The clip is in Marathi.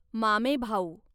मामेभाऊ